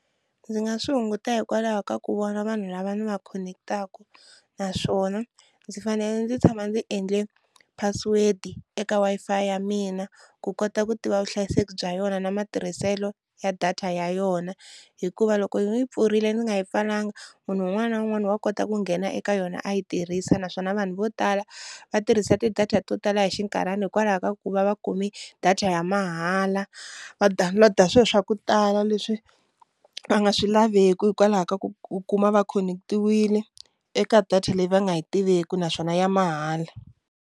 Ndzi nga swi hunguta hikwalaho ka ku vona vanhu lava ni va khonekitaku naswona ndzi fanele ndzi tshama ndzi endle password eka Wi-Fi ya mina ku kota ku tiva vuhlayiseki bya yona na matirhiselo ya data ya yona hikuva loko yi pfurile ndzi nga yi pfalanga, munhu un'wana na un'wana wa kota ku nghena eka yona a yi tirhisa naswona vanhu vo tala va tirhisa ti-data to tala hi xinkarhana hikwalaho ka ku va va kumi data ya mahala, va download-a swilo swa ku tala leswi va nga swi laveki hikwalaho ka ku ku kuma va khonekitiwile eka data leyi va nga yi tiveki naswona ya mahala.